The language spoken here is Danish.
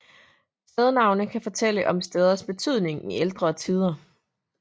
Stednavne kan fortælle om steders betydning i ældre tider